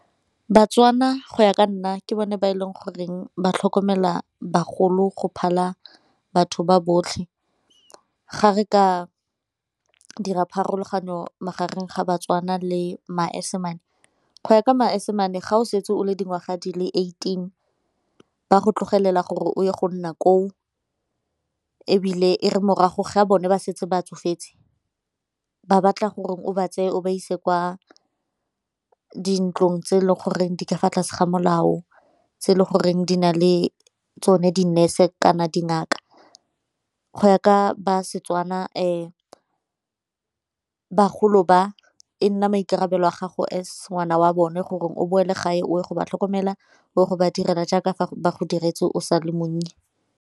Batswana go ya ka nna ke bone ba e leng goreng ba tlhokomela bagolo go phala batho ba botlhe, ga re ka dira pharologano magareng ga Batswana le Masimane. Go ya ka Masimane ga o setse o le dingwaga di le eighteen ba tlogelela gore o ye go nna koo, ebile e re morago ga a bone ba setse ba tsofetse ba batla gore o ba tseye o ba ise kwa dintlong tse e leng goreng di ka fa tlase ga molao tse e le goreng di na le tsone di-nurse kana dingaka. Go ya ka ba Setswana bagolo ba e nna maikarabelo a gago as ngwana wa bone gore o boele gae o go ba tlhokomela o ye go ba direla jaaka fa ba go diretse o sa le monnye.